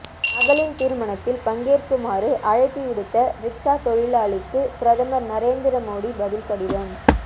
மகளின் திருமணத்தில் பங்கேற்குமாறு அழைப்பு விடுத்த ரிக்சா தொழிலாளிக்கு பிரதமர் நரேந்திர மோடி பதில் கடிதம்